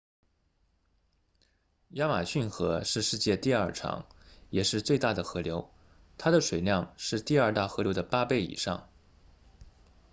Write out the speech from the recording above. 亚马逊河是世界上第二长也是最大的河流它的水量是第二大河流的8倍以上